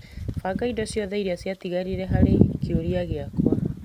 Banga indo ciothe iria cia tigarire harĩ kĩũria gĩakwa .